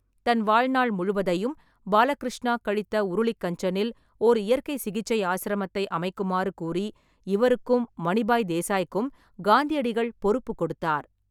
தன் வாழ்நாள் முழுவதையும் பாலகிருஷ்ணா கழித்த உருளிக் கஞ்சனில் ஓர் இயற்கைச் சிகிச்சை ஆசிரமத்தை அமைக்குமாறு கூறி இவருக்கும் மணிபாய் தேசாய்க்கும் காந்தியடிகள் பொறுப்புக் கொடுத்தார்.